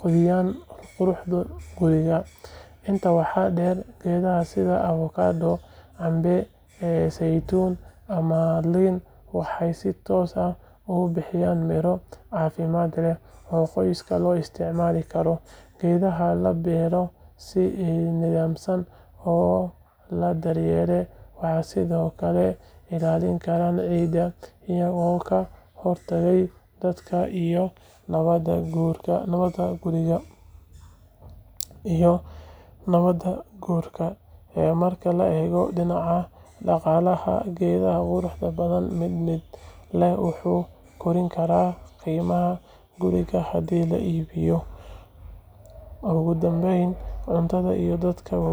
kordhiyaan quruxda guriga. Intaa waxaa dheer, geedaha sida avocado, cambe, saytuun, ama liin waxay si toos ah u bixiyaan miro caafimaad leh oo qoyska loo isticmaali karo. Geedaha la beero si nidaamsan oo la daryeelo waxay sidoo kale ilaalin karaan ciidda, iyagoo ka hortagaya daadadka iyo nabaad guurka. Marka la eego dhinaca dhaqaalaha, geed qurxoon ama mid miro leh wuxuu kordhin karaa qiimaha guriga haddii la iibinayo. Ugu dambayn, caruurta iyo dadka waaweynba.